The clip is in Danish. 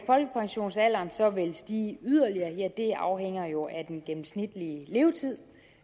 folkepensionsalderen så vil stige yderligere ja det afhænger jo af den gennemsnitlige levetid